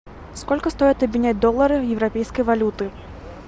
сколько стоит обменять доллары в европейской валюты